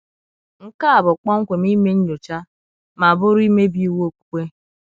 Nke a bụ kpọmkwem ime nnyocha, ma bụrụ imebi iwụ okpukpe.